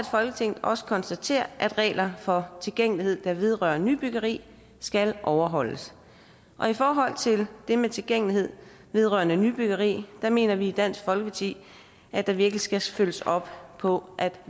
folketinget også konstaterer at regler for tilgængelighed der vedrører nybyggeri skal overholdes i forhold til det med tilgængelighed vedrørende nybyggeri mener vi i dansk folkeparti at der virkelig skal følges op på at